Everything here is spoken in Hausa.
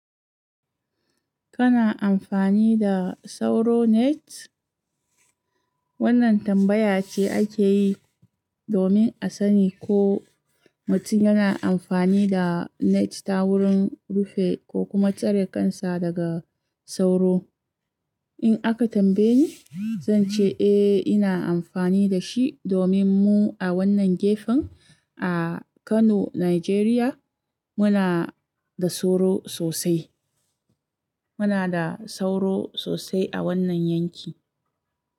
Kana amfani da sauro net? Wannan tambaya ce ake yi domin a sani ko mutun yana amfani da net ta wurin rufin ko kuma tsare kansa daga sauro. In aka tambaye ni, zan ce eh ina amfani da shi domin mu a wannan gefen a Kano, Najeriya, muna da sauro sosai. Muna da sauro sosai a wannan yanki.